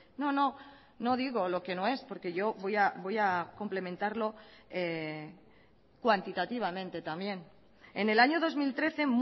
no no no digo lo que no es porque yo voy a complementarlo cuantitativamente también en el año dos mil trece